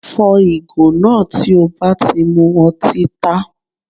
Fọ́ ìgò náà tí o bá ti mu ọtí tá